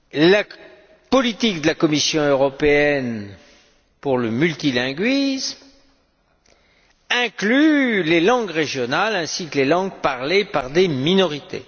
La politique de la Commission européenne pour le multilinguisme inclut les langues régionales ainsi que les langues parlées par des minorités.